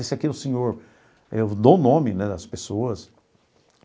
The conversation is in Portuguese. Esse aqui é o senhor eu dou o nome né das pessoas.